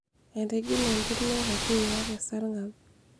etigile entirma e kakuyia tesarngab